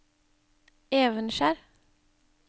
Evenskjer